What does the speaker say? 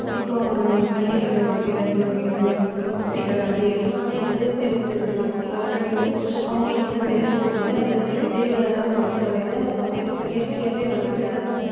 இப்போ ஒரு பயிர் இடுறதுக்கு ஏதாவது ஒரு இது யுக்திகள் அப்படி எல்லாமே வந்து தெரிஞ்சிரும். நமக்கு already வந்து அவங்களுக்கு வந்து தெரிஞ்சிருந்து அதே மாதிரி விதைகள் எல்லாம் பொறுத்தவரையில அவங்களுக்கு இயற்கையாவே வந்து கிடைச்சுது